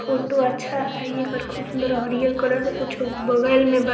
फोटू अच्छा है ये कर खूब सुन्दर और हरि हर कलर का कुछ बगल में बा।